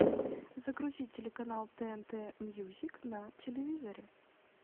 загрузи телеканал тнт мьюзик на телевизоре